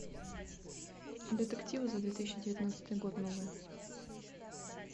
детективы за две тысячи девятнадцатый год новые